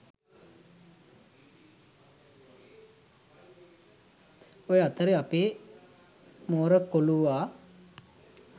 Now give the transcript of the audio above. ඔය අතරේ අපේ මෝර කොලුවා